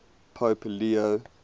pope leo